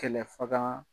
Kɛlɛfaga